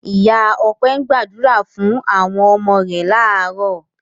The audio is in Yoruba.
Ìyá Ọpẹ́ gbàdúrà fún àwọn ọmọ rẹ̀ láàárọ̀.